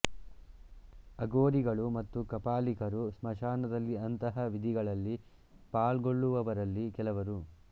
ಅಘೋರಿಗಳು ಮತ್ತು ಕಾಪಾಲಿಕರು ಸ್ಮಶಾನದಲ್ಲಿ ಅಂತಹ ವಿಧಿಗಳಲ್ಲಿ ಪಾಲ್ಗೊಳ್ಳುವವರಲ್ಲಿ ಕೆಲವರು